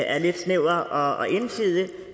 er lidt snæver og ensidig